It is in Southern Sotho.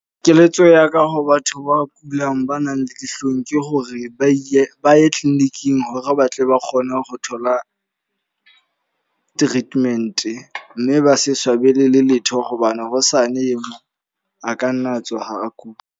Keletso yaka ho batho ba kulang, ba nang le dihlong. Ke hore ba ile ba ye clinic-ing hore ba tle ba kgone ho thola treatment. Mme ba se swabele le letho hobane hosane eo mong a ka nna a tsoha a kula.